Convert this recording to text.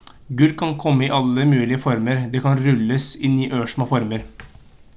gull kan komme i alle mulige former det kan rulles inn i ørsmå former